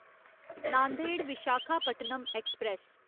Nanded Visakhapatnam express